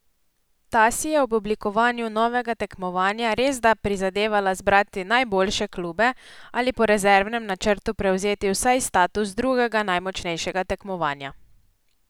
Ta si je ob oblikovanju novega tekmovanja resda prizadevala zbrati najboljše klube ali po rezervnem načrtu prevzeti vsaj status drugega najmočnejšega tekmovanja.